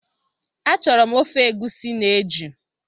Achọrọ m ofe egusi na eju